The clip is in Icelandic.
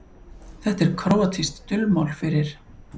Þetta er króatískt dulmál fyrir